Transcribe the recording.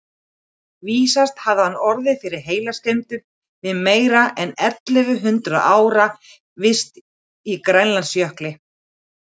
Vísast hefði hann orðið fyrir heilaskemmdum við meira en ellefu hundruð ára vist í Grænlandsjökli.